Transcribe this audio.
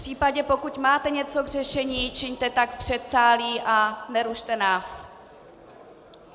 Případně pokud máte něco k řešení, čiňte tak v předsálí a nerušte nás.